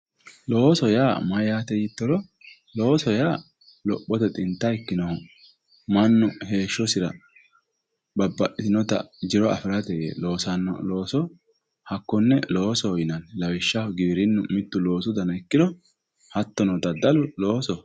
Looso yaa mayate ytoro looso yaa lophote xinta ikkinohu mannu heeshsho babbaxitinotta jiro affirate loossanoha looso hakkone loosoho yinnanni lawishshaho giwirinu mitto looso danna ikkiro hattono daddallu loosoho.